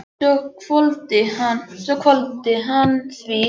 Svo hvolfdi hann því í sig.